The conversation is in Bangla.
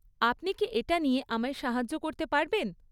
আপনি কি এটা নিয়ে আমায় সাহায্য করতে পারবেন?